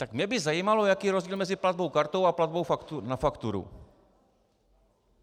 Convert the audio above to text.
Tak mě by zajímalo, jaký je rozdíl mezi platbou kartou a platbou na fakturu.